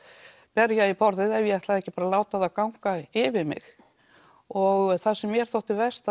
berja í borðið ef ég ætlaði ekki að láta þá ganga yfir mig og það sem mér þótti verst